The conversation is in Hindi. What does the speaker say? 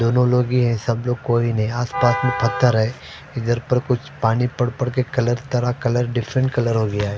दोनों लोग ही सब लोग कोई नहीं आस पास में पथर है इधर पर कुछ पानी पड़ पड़ के कलर तरह कलर डिफरेंट कलर हो गया है।